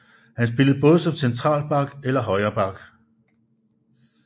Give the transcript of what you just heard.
Han spillede både som central back eller højre back